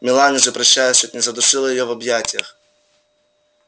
мелани же прощаясь чуть не задушила её в объятиях